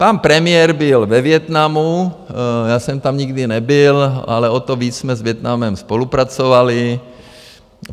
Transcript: Pan premiér byl ve Vietnamu, já jsem tam nikdy nebyl, ale o to víc jsme s Vietnamem spolupracovali.